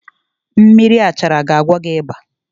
Mmiri Baoba ga agwọ gị ịba